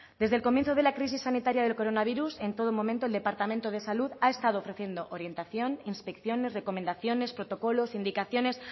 desde el comienzo de la crisis sanitaria del coronavirus en todo momento el departamento de salud ha estado ofreciendo orientación inspecciones recomendaciones protocolos indicaciones